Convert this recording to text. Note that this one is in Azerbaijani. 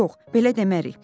Yox, belə demərik.